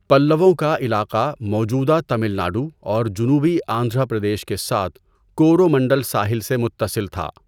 پلّووں کا علاقہ موجودہ تمل ناڈو اور جنوبی آندھرا پردیش کے ساتھ کورومنڈل ساحل سے متصل تھا۔